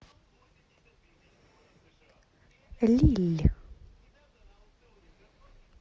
лилль